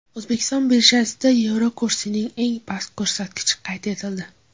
O‘zbekiston birjasida yevro kursining eng past ko‘rsatkichi qayd etildi.